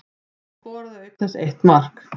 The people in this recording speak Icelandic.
Hún skoraði auk þess eitt mark